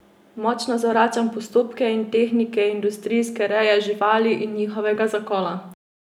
Močno zavračam postopke in tehnike industrijske reje živali in njihovega zakola.